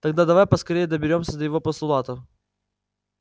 тогда давай поскорее доберёмся до его постулатов